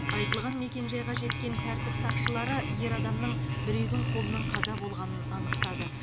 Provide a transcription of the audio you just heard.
айтылған мекенжайға жеткен тәртіп сақшылары ер адамның біреудің қолынан қаза болғанын анықтады